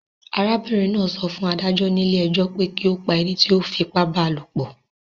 Arábìrin náà so fún adájó nílé ejó pe ki o pa enití o fipá ba lòpò